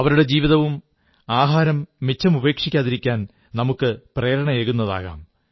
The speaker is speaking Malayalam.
അവരുടെ ജീവിതവും ആഹാരം മിച്ചമുപേക്ഷിക്കാതിരിക്കാൻ നമുക്ക് പ്രേരണയേകുന്നതാകാം